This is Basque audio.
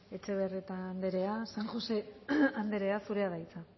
etxebarrieta anderea san josé andreea zurea da hitza